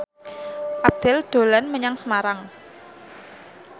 Abdel dolan menyang Semarang